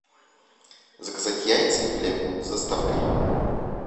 заказать яйца и хлеб с доставкой